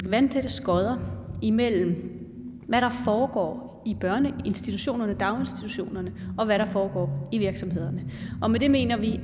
vandtætte skodder imellem hvad der foregår i børneinstitutionerne i daginstitutionerne og hvad der foregår i virksomhederne og med det mener vi